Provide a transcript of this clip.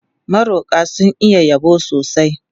Maroƙa sun iya yabo sosai.